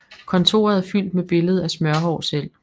Kontoret er fyldt med billede af Smørhår selv